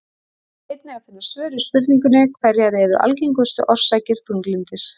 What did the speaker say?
Hér er einnig að finna svör við spurningunum Hverjar eru algengustu orsakir þunglyndis?